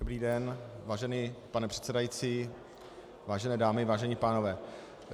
Dobrý den, vážený pane předsedající, vážené dámy, vážení pánové.